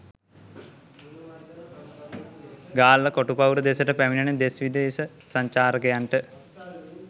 ගාල්ල කොටු පවුර දෙසට පැමිණෙන දෙස් විදේශ සංචාරකයන්ට